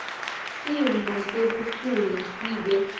simo sebuphuya sibe